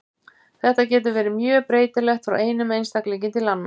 Þetta getur verið mjög breytilegt frá einum einstaklingi til annars.